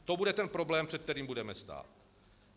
A to bude ten problém, před kterým budeme stát.